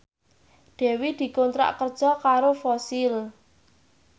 Dewi dikontrak kerja karo Fossil